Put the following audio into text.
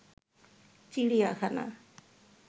চিড়িয়াখানা